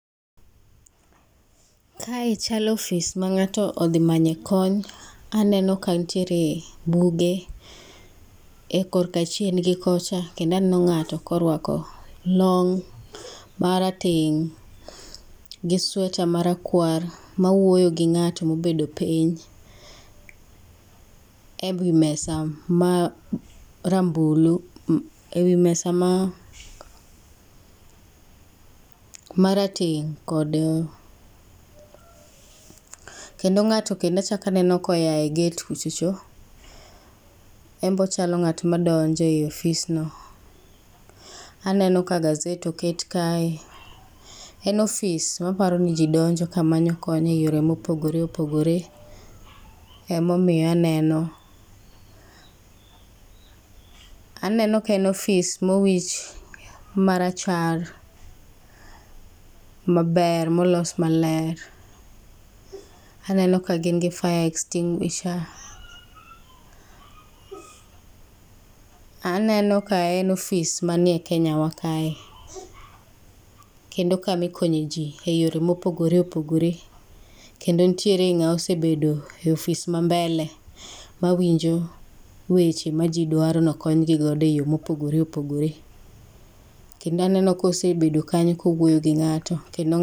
Kae chalo ofis ma ng'ato odhi manye kony. Aneno ka nitiere buge korka chien gi kocha kendo aneno ng'ato kloruako long' marateng' gi sweta marakwar ma wuoyo gi ng'ato mobedo piny ewi mesa ma rambulu ewi mesa marateng' kod kendo ng'ato klendo achalo aneno koa e gate kucho cho, en be ochalo ng'at madwa donjo e ofisno. Aneno ka gaset oket kae. En ofis maparo ni ji donjo kamanyo kony eyore mopogore opogore emomiyo aneno aneno ka en ofis mowich marachar maber maber molos maler. Aneno ka gin gi fire extinguisher. Aneno ka en ofis manmie Kenyawa kae kendo en kama ikonye ji mopogore opogore kendo nitiere ng'ama osebedo ei ofis mambele mawinjo weche maji dwaro ni okonygi godo eyo ,mopogore opogore. Kendo aneno ka osebedo kanyo ka owuoyo gi ng'ato kendo